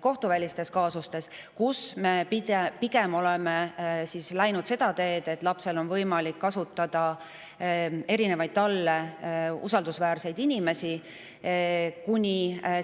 Kohtuvälistes kaasustes me oleme läinud pigem seda teed, et lapsel on võimalik kasutada erinevaid talle usaldusväärseid inimesi, seda kuni